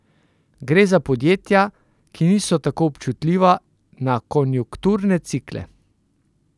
Gre za podjetja, ki niso tako občutljiva na konjunkturne cikle.